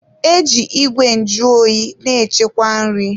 E ji Ìgwè nju oyi na-echekwa nri.